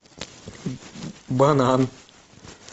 банан